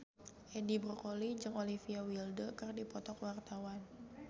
Edi Brokoli jeung Olivia Wilde keur dipoto ku wartawan